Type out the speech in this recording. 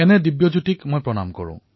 এই দিব্যজ্যোতিক মোৰ প্ৰণাম